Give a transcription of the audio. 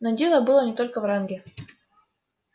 но дело было не только в ранге